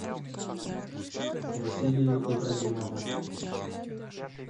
василию ибрагимову